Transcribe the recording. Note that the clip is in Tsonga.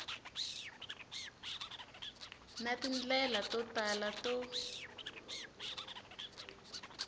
na tindlela to tala to